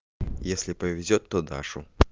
если повезёт то дашу